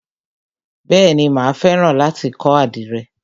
Bèéni, mà á fẹ́ràn láti kọ́ àdìrẹ.